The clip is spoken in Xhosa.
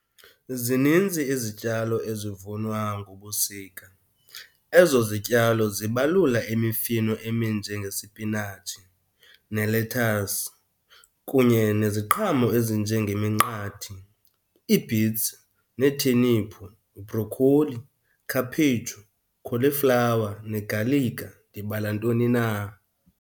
Zinintsi izityalo ezivunwa ngobusika. Ezo zityalo zibalula imifino eminjengesipinatshi, nelethasi kunye neziqhamo ezinjengeminqathi, ii-beets, neetheniphu, bhrokholi, khaphetshu, kholiflawa negalika, ndibala ntoni na.